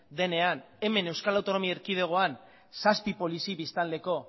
denean hemen euskal autonomi erkidegoan zazpi polizi biztanleko